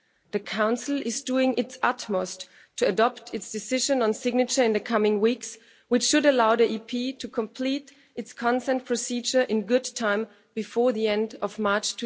The Council is doing its utmost to adopt its decision on signature in the coming weeks, which should allow the EP to complete its consent procedure in good time, before the end of March